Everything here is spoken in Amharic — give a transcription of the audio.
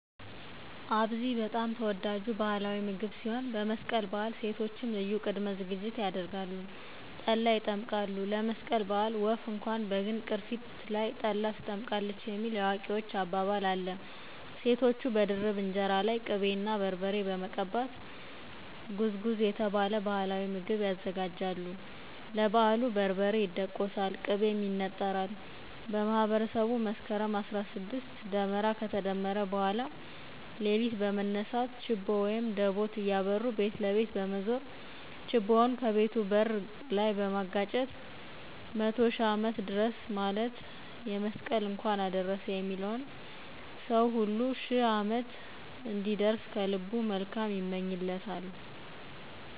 አብዚ በጣም ተወዳጁ ባህላዊ ምግብ ሲሆን በመስቀል በዓል ሴቶችም ልዩ ቅድመ ዝግጅት ያደርጋሉ። ጠላ ይጠምቃሉ። ለመስቀል በዓል ወፍ እንኳን በግንድ ቅርፊት ላይ ጠላ ትጠምቃለች የሚል የአዊዎች አባባል አለ። ሴቶቹ በድርብ እንጀራ ላይ ቅቤ እና በርበሬ በመቀባት ጉዝጉዝ የተባለ ባህላዊ ምግብ ያዘጋጃሉ። ለበዓሉ በርበሬ ይደቆሳል፤ ቅቤም ይነጠራል። በማህበረሰቡ መስከረም 16 ደመራ ከተደመረ በኋላ ሌሊት በመነሳት ችቦ(ደቦት) እያበሩ ቤት ለቤት በመዞር ችቦውን ከቤቱ በር ላይ በማጋጨት "መቶ ሽህ ዓመት ድረስ" ማለት ነው የመስቀል እንኳን አደረሰህ የሚለውን ሰው ሁሉ "ሽህ ዓመት" እንዲደርስ ከልቡ መልካም ይመኝለታል።